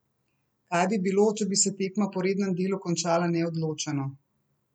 Kaj bi bilo, če bi se tekma po rednem delu končala neodločeno?